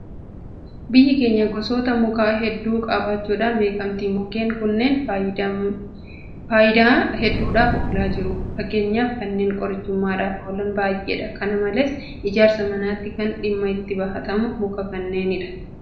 Biyyi keenya gosoota mukaa hedduu qabaachuudhaan beekamti. Mukkeen kunneen faayifmdaa hedduudhaaf oolaa jiru. Fakkeenyaaf kanneen qorichummaadhaaf oolan baay'eedha. Kana malees ijaarsa manaatiif kan dhimma itti bahatamu mukuma kanneenidha. Mukkeen kunnee yeroo ammaa cirama bosonaa heddummateen mancaafamaa jira.